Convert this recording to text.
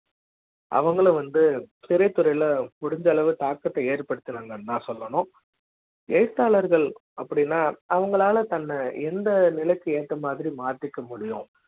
அவங்கள வந்து பெரிய துறைல முடிந்த அளவு தாக்கத்தை ஏற்படுத்துனாங்கனு தா சொல்லணும் ஏழுத்தாளர்கள் அப்படி னா அவங்களால தன்னை எந்த நிலைக்கு ஏத்த மாதிரி மாத்திக்க முடியும்